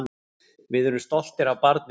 Við erum stoltir af barninu.